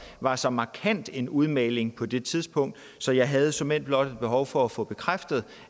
var så markant en udmelding på det tidspunkt så jeg havde såmænd blot et behov for at få bekræftet